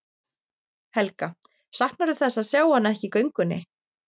Helga: Saknarðu þess að sjá hana ekki í göngunni?